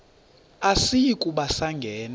asiyi kuba sangena